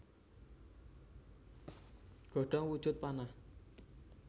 Godhong wujud panah